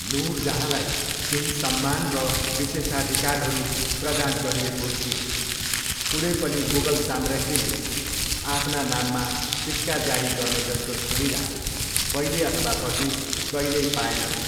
नुरजहाँलाई केही सम्मान र विशेषाधिकारहरू प्रदान गरिएको थियो। कुनै पनि मुगल सम्राज्ञीले आफ्ना नाममा सिक्का जारी गर्नेजस्तो सुविधा पहिले अथवा पछि, कहिल्यै पाएनन्।